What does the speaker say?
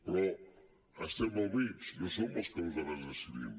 però estem al mig no som nosaltres els que decidim